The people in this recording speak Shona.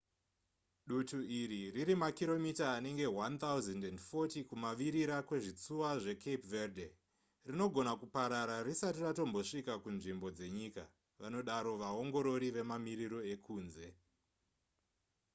dutu iri riri makiromita anenge 1 040 kumavirira kwezvitsuwa zvecape verde rinogona kuparara risati ratombosvika kunzvimbo dzenyika vanodaro vaongorori vemamiriro ekunze